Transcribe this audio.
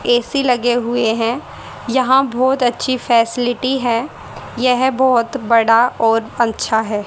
AC लगे हुए हैं यहां बहोत अच्छी फैसिलिटी है यह बहोत बड़ा और अच्छा है।